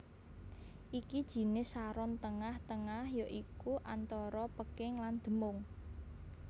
Iki jinis saron tengah tengah ya iku antara peking lan demung